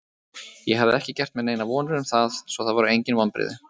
Ég hafði ekki gert mér neinar vonir um það, svo það voru engin vonbrigði.